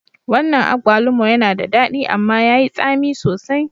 Wannan agbalumo yana da daɗi amma yayi tsami sosai